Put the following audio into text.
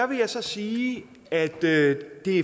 vil jeg så sige at det